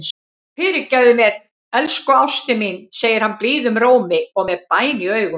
Fyrirgefðu mér, elsku ástin mín, segir hann blíðum rómi og með bæn í augum.